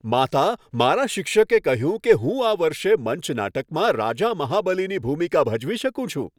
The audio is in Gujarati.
માતા, મારા શિક્ષકે કહ્યું કે હું આ વર્ષે મંચ નાટકમાં રાજા મહાબલીની ભૂમિકા ભજવી શકું છું.